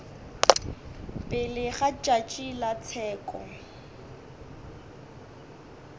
pele ga tšatši la tsheko